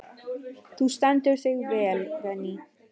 Þú stendur þig vel, Véný!